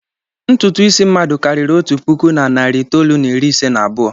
Ntutu isi mmadụ karịrị otu puku na narị itoolu na iri ise na abụọ.